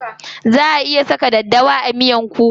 Za a iya saka daddawa a miyan kuka.